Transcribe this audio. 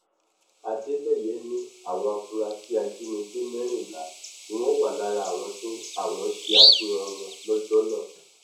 adeleye ní àwọn afurasí ajínigbé mẹrìnlá ni wọn wà lára àwọn tí àwọn ṣe àfihàn wọn lọjọ náà